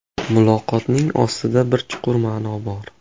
Muloqotning ostida bir chuqur ma’no bor.